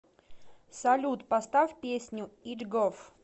салют поставь песню идгоф